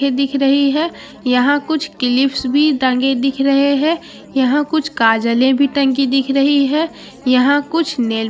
ये दिख रही है यहाँ कुछ क्लिप्स भी टंगे दिख रहे है यहाँ कुछ काजलें भी टंगी दिख रही हैं यहाँ कुछ नेल --